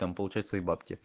там получает свои бабки